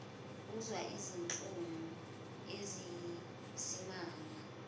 uzwa izinhlungu eziyisimanga